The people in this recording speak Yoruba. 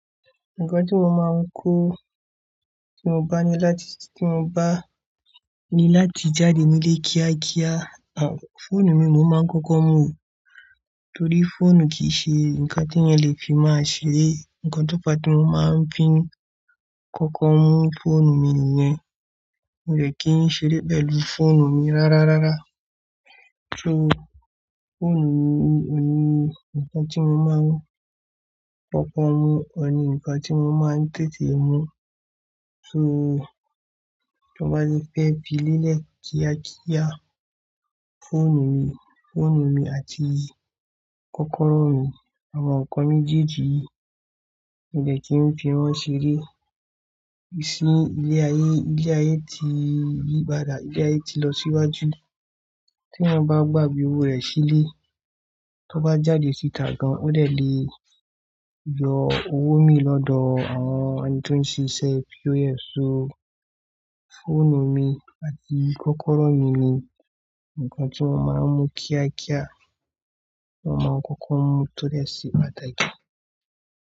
Nǹkan tí mo máa ń kó tí mo bá ní láti, tí mo bá ní láti jáde nílé kíákíá àwọn fóònù mi mo máa ń kọ́kọ́ mú, torí fóònù kìí ṣe ǹkan tí ẹni lè fi máa ṣeré. Ǹkan tó pa tí mo máa ń fi ń kọ́kọ́ mú fóònù mi nìyẹn. Mo dẹ̀ kí ń ṣeré pẹ̀lú fóònù mi rárárárá. So fóònù mi ni ǹkan tí mo máa ń kọ́kọ́ mú, ọ̀n ní ǹkan tí mo máa ń tètè mú. So tí mo bá ti fẹ́ fi lélẹ̀ kíákíá, fóònù mi, fóònù mi àti kọ́kọ́rọ́ mi àwọn ǹkan méjèèjì yìí mo dẹ̀ kí ń fi wọ́n ṣeré. Ìsìn ilé ayé, ilé ayé ti yí padà, ilé ayé ti lọ síwájú. Tí eysn bá gbàgbé owó rẹ̀ sílé, tí ó bá jáde síta gan, ó dẹ̀ lè yọ owó mi lọ́dọ̀ àwọn ẹni tí ó ń ṣe iṣẹ́ POS. So fóònù mi àti kọ́kọ́rọ́ mi ni ǹkan tí mo máa ń mú kíákíá, mo máa ń kọ́kọ́ mú to dẹ ṣe pàtàkì.